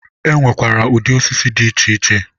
e nwekwara ụdị osisi dị iche iche.